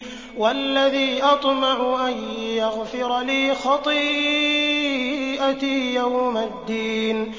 وَالَّذِي أَطْمَعُ أَن يَغْفِرَ لِي خَطِيئَتِي يَوْمَ الدِّينِ